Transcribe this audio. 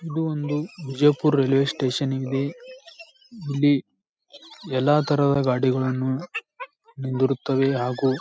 ಇದೊಂದು Bijapur railway station ಇಲ್ಲಿ ಇಲ್ಲಿ ಎಲ್ಲಾ ತರದ ಗಾಡಿಗಳನ್ನು ದೊರೆತವೇ ಹಾಗೂ --